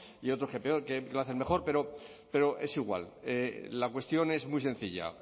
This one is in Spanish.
y otros que lo hacen mejor pero es igual la cuestión es muy sencilla